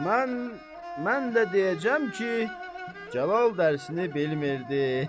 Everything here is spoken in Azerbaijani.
Mən də deyəcəm ki, Cəlal dərisini bilmədi.